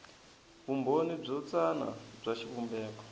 vumbhoni byo tsana bya xivumbeko